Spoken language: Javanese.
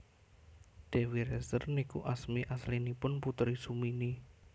Dewi Rezer niku asmi aslinipun Putri Sumini